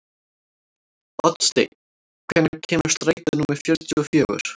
Oddsteinn, hvenær kemur strætó númer fjörutíu og fjögur?